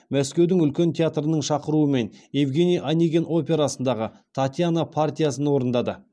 мәскеудің үлкен театрының шақыруымен евгений онегин операсындағы татьяна партиясын орындады